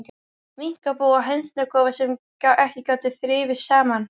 Minkabú og hænsnakofar, sem ekki gátu þrifist saman.